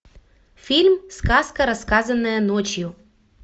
фильм сказка рассказанная ночью